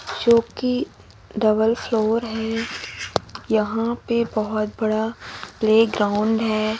जो कि double floor है यहां पे बहुत बड़ा प्लेग्राउंड है।